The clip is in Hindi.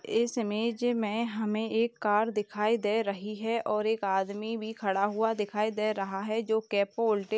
इस इमेज में हमें एक कार दिखाई दे रही है और एक आदमी भी खड़ा दिखाई दे रहा है जो कैपो उल्टे --